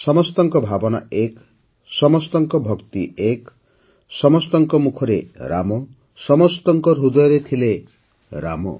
ସମସ୍ତଙ୍କ ଭାବନା ଏକ ସମସ୍ତଙ୍କ ଭକ୍ତି ଏକ ସମସ୍ତଙ୍କ ମୁଖରେ ରାମ ସମସ୍ତଙ୍କ ହୃଦୟରେ ଥିଲେ ରାମ